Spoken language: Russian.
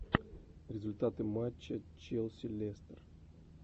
результаты матча челси лестер